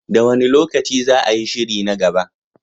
Da wane lokaci za a yi shiri na gaba?